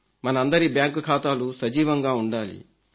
మనందరి బ్యాంకు ఖాతాలు సజీవంగా ఉండాలి